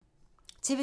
TV 2